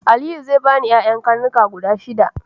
Aliyu zai bani yaya karnuka guda shida.